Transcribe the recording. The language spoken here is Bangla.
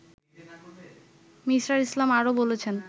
মি: ইসলাম আরও বলেছেন